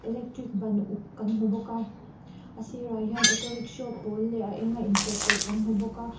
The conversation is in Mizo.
electric ban uk kan hmu bawk a a sir ah hian auto rickshaw pawl leh a enga inchawhpawlh kan hmu bawk a.